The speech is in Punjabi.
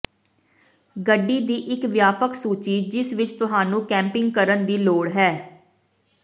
ਗੱਡੀ ਦੀ ਇੱਕ ਵਿਆਪਕ ਸੂਚੀ ਜਿਸ ਵਿੱਚ ਤੁਹਾਨੂੰ ਕੈਪਿੰਗ ਕਰਨ ਦੀ ਲੋੜ ਹੈ